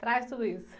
Traz tudo isso.